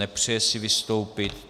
Nepřeje si vystoupit.